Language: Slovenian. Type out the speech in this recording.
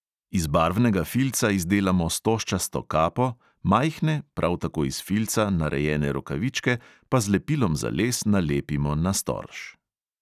Iz barvnega filca izdelamo stožčasto kapo, majhne, prav tako iz filca narejene rokavičke pa z lepilom za les nalepimo na storž.